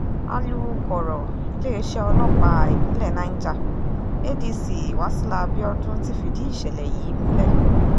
um wọ́n ní wọn ò yìnbọn pa ẹnikẹ́ni bẹ́ẹ̀ ni wọn um ò lu aliyu tàbí ṣe é léṣe